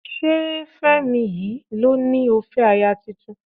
Ṣé Fẹ́mi yìí ló ní ó fẹ́ aya tuntun?